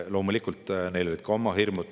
Loomulikult, neil olid ka oma hirmud.